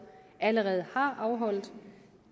allerede har afholdt